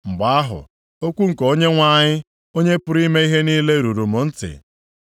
Mgbe ahụ, okwu nke Onyenwe anyị, Onye pụrụ ime ihe niile ruru m ntị,